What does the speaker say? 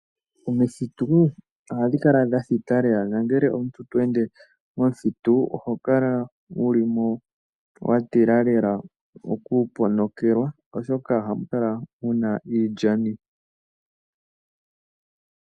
Omithitu ohadhi kala dha thita lela na ngele omuntu tweende momuthitu oho kala wuli mo wa tila lela okuponokelwa, oshoka oha mu kala muna iilyani.